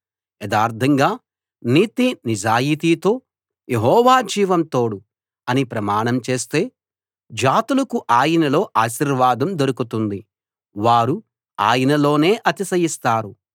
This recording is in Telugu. యథార్థంగా నీతి నిజాయితీతో యెహోవా జీవం తోడు అని ప్రమాణం చేస్తే జాతులకు ఆయనలో ఆశీర్వాదం దొరుకుతుంది వారు ఆయనలోనే అతిశయిస్తారు